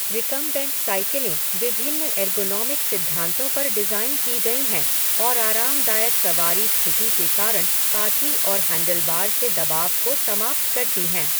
Recumbent साइकिलें विभिन्न ergonomic सिद्धांतों पर डिज़ाइन की गईं हैं और आरामदायक सवारी स्थिति के कारण काठी और हैंडलबार से दबाव को समाप्त करती हैं।